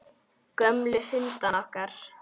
Gömlu hundana okkar.